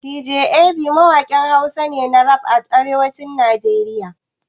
Dj Ab mawaƙin Hausa ne na rap a arewacin Najeriya.